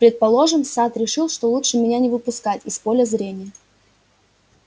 предположим сатт решит что лучше меня не выпускать из поля зрения